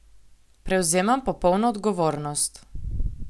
Prevzemam popolno odgovornost.